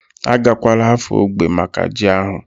Agakwala Afo ógbè maka ji ahu?